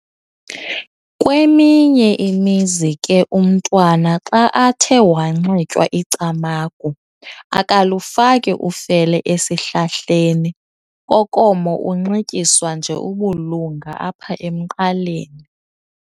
Kweminye imizi ke umntwana xa athe wanxitywa icamagu akalufaki ufele esihlahleni Kokomo unxityiswa nje ubulunga apha emqaleni.